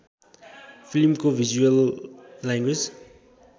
फिल्मको visual language